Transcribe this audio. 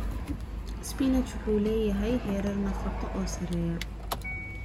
Spinach wuxuu leeyahay heerar nafaqo oo sarreeya.